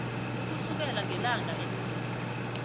ukusukela ngelanga elingehla